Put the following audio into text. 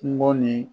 Kungo ni